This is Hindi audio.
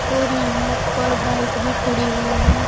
और यहां पर बाइक भी खड़ी हुई हैं।